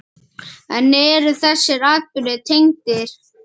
En eru þessir atburðir tengdir?